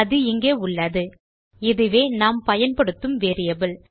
அது இங்கே உள்ளது இதுவே நாம் பயன்படுத்தும் வேரியபிள்